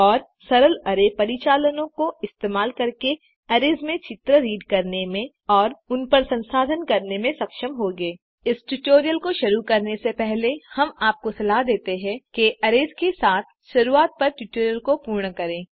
और सरल अरै परिचालनों का इस्तेमाल करके अरैज़ में चित्र रीड करने में और उनपर संसाधन करने में सक्षम होंगे इस ट्यूटोरियल को शुरू करने से पहले हम आपको सलाह देते हैं कि अरैज़ के साथ शुरुआत पर ट्यूटोरियल को पूर्ण करें